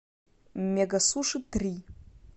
мегасуши три